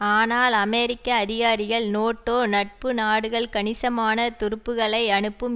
ஆனால் அமெரிக்க அதிகாரிகள் நோட்டோ நட்பு நாடுகள் கணிசமான துருப்புக்களை அனுப்பும்